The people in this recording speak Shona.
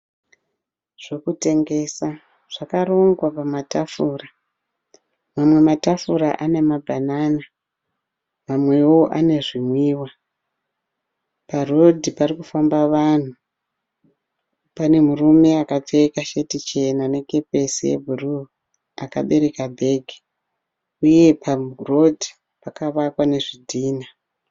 Zvekutengesa zvakarongwa pamatafura. Mamwe matafura ane ma banana, mamwewo ane zvinwiwa. Pa road parikufamba vanhu pane murume akapfeka sheti chena ne kepisi ye bhuruu akabereka bhegi. Uye pa road pakavakwa ne zvidhina .